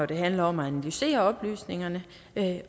det handler om at analysere oplysningerne